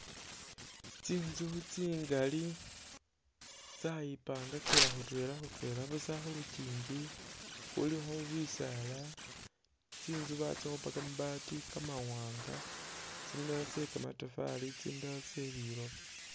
Tinzu tsingali tsayipangakila khutwela khutwela busa, khulukyinji khulikho bisaala, tsinzu batsikhupa kamabaati kamawanga ,tsindala tse kamatafari, tsindala tse liloba